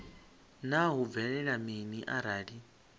naa hu bvelela mini arali